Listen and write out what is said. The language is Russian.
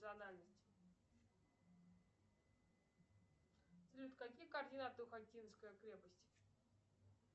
салют какие координаты у хотинской крепости